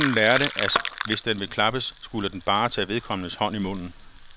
Hunden lærte, at hvis den ville klappes, skulle den bare tage vedkommendes hånd i munden.